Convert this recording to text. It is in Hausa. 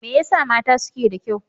Me yasa mata suke da kyau?